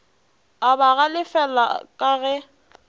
a ba galefela ka ge